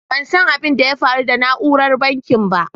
Ban san abin da ya faru da nauran banking ba.